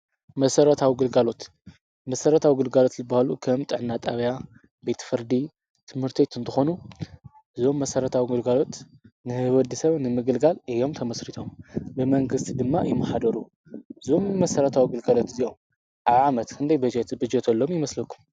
መሰረታዊ ግልጋሎት፡- መሠረታዊ ግልጋሎት ልባሃሉ ኸም ጥዕናጣብያ፣ ቤት ፍርዲ፣ ቤት ትምህርቲ እንተኾኑ እዞም መሠረታዊ ኣግልጋሎት ንሕ/ሰብ ንምግልጋል እዮም ተመሥሪቶም፡፡ ብመንግስቲ ድማ ይመሓደሩ፡፡ እዞም መሠረታዊ ኣግልጋሎት እዚኦም ኣብ ዓመት ክንደይ በጀት ይብጀቶሎም ይመስለኩም?